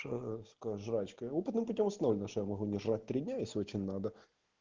ча сказочка опытным путём установлено что я могу держать принялись очень надо